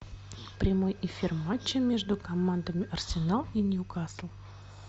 прямой эфир матча между командами арсенал и ньюкасл